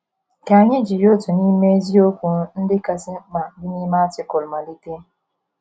Ka anyị jiri otu n’ime eziokwu ndị kasị mkpa dị n’ime Artịkụlụ malite.